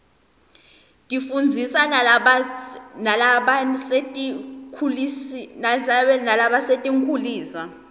tifundzisa nalabasetinkhulisa